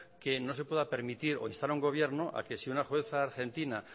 que no se pueda permitir o instar a un gobierno a que si una jueza argentina